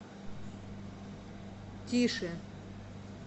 тише